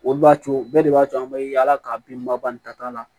Olu b'a to bɛɛ de b'a to an bɛ yaala ka bin ba ba ni tata la